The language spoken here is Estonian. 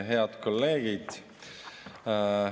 Head kolleegid!